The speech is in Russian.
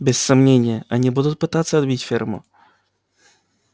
без сомнения они будут пытаться отбить ферму